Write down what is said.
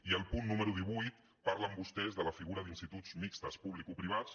i al punt número divuit parlen vostès de la figura d’instituts mixtos publicoprivats